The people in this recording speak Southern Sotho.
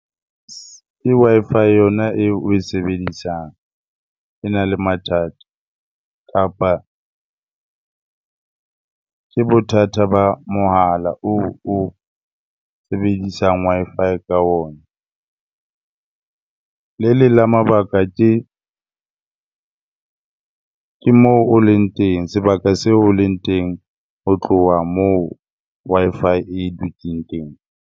Ke Wi-Fi yona eo oe sebedisang, ena le mathata kapa ke bothata ba mohala oo o sebedisang Wi-Fi ka ona. Le leng la mabaka ke moo o leng teng, sebaka seo o leng teng ho tloha moo Wi-Fi e dutseng teng.